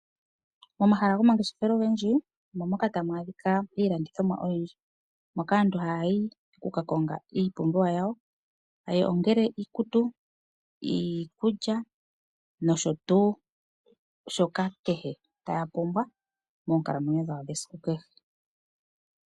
Momahala gomangeshefelo ogendji omo moka hamu adhika iilandithomwa oyindji. Moka aantu haya ka konga iipumbiwa yawo ongele iikutu, iikulya nakehe shimwe ta yeshi pumbwa mokukalamwenyo kwa kehe esiku.